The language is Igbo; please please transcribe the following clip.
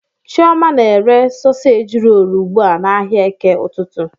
Chioma na-ere soseji rolu ugbu a n'ahịa eke ụtụtụ.